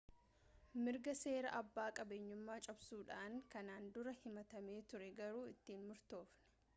mirga seeraa abbaa qabeenyummaa cabsuudhaan kanaan dura himatamee ture garuu itti hin murtoofne